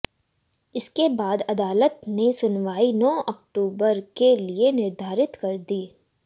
इसके बाद अदालत ने सुनवाई नौ अक्तबूर के लिए निर्धारित कर दी